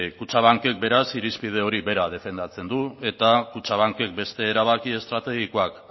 kutxabankek beraz irizpide hori bera defendatzen du eta kutxabankek beste erabaki estrategikoak